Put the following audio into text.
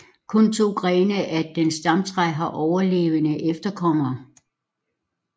Kun to grene af dens stamtræ har overlevende efterkommere